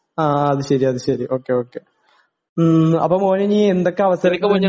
ആ അത് ശെരി ഓ കെ ഓ കെ ഹ്ം അപ്പോ മോനെനി എന്തൊക്കെ അവസര